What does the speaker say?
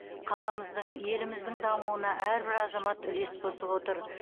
қаламыздың еліміздің дамуына әрбір азамат үлес қосып отыр